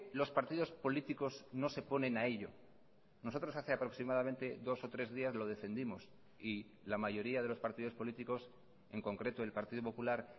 los partidos políticos no se ponen a ello nosotros hace aproximadamente dos o tres días lo defendimos y la mayoría de los partidos políticos en concreto el partido popular